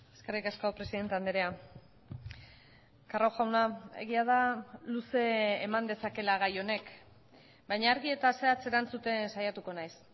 eskerrik asko presidente andrea carro jauna egia da luze eman dezakeela gai honek baina argi eta zehatz erantzuten saiatuko naiz